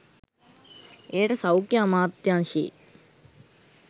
එයට සෞඛ්‍ය අමාත්‍යාංශයේ